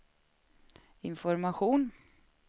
information